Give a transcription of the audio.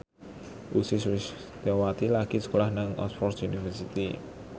Ussy Sulistyawati lagi sekolah nang Oxford university